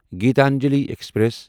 Gitanjali express